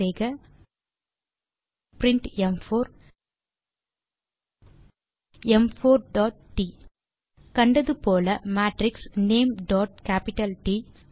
type செய்க print ம்4 ம்4 டாட் ட் கண்டது போல மேட்ரிக்ஸ் நேம் டாட் கேப்பிட்டல் ட்